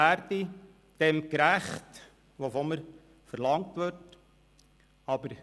Ich hoffe, dem, was von mir verlangt wird, gerecht zu werden.